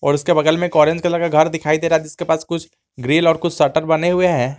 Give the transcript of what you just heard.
उसके बगल में एक ऑरेंज कलर का घर दिखाई दे रहा है जिसके पास कुछ ग्रिल और कुछ शटर बने हुए है।